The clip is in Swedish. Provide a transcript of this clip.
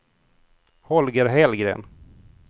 Holger Hellgren